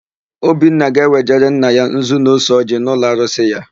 Obinna ga-ewejere nna ya nzu na ose ọjịị n'ụlọarusị ya.